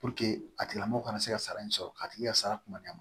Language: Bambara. a tigila mɔgɔ kana se ka sara in sɔrɔ k'a tigi ka sara kuma na